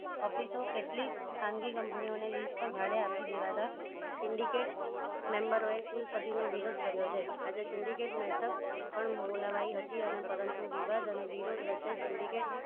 Office કેટલી ખાનગી company ઓને ભાડે આપી દેવા indicate member ઓએ કુલપતિ નો વિરોધ કર્યો છે આજે syndicate matup પણ બોલાવાઈ હતી અને પરતું વિવાદ અને વિરોધ વચ્ચે sindicate